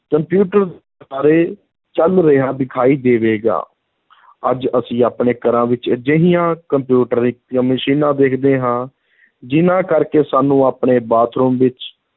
computer ਬਾਰੇ ਚਲ ਰਿਹਾ ਦਿਖਾਈ ਦੇਵੇਗਾ ਅੱਜ ਅਸੀਂ ਆਪਣੇ ਘਰਾਂ ਵਿੱਚ ਅਜਿਹੀਆਂ ਕੰਪਿਊਟਰੀ ਮਸ਼ੀਨਾਂ ਦੇਖਦੇ ਹਾਂ, ਜਿਨ੍ਹਾਂ ਕਰਕੇ ਸਾਨੂੰ ਆਪਣੇ ਬਾਥਰੂਮ ਵਿੱਚ